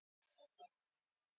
Snyrtistofur illa verðmerktar